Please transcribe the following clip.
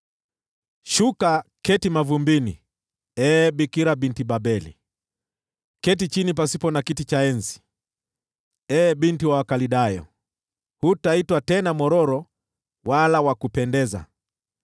“Shuka uketi mavumbini, ee Bikira Binti Babeli; keti chini pasipo na kiti cha enzi, ee binti wa Wakaldayo. Hutaitwa tena mwororo wala wa kupendeza.